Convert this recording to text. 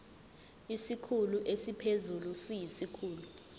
isikhulu esiphezulu siyisikhulu